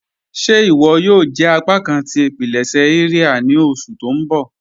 Ṣé iwọ yòò jẹ apákan tí ipilẹṣẹ iria ni oṣù tó n bọ́?